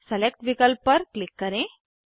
select विकल्प पर click करें